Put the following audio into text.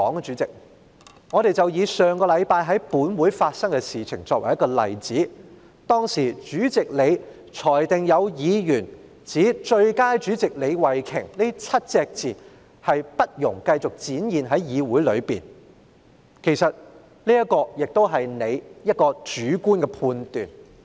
主席，不如以上星期在本會發生的事情為例，當時主席作出裁決，指"最佳主席李慧琼"這7個字不容繼續在議會內展示，其實這亦是主席你的主觀判斷......